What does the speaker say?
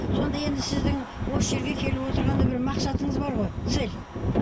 сонда енді сіздің осы жерге келіп отырғанда бір мақсатыңыз бар ғой цель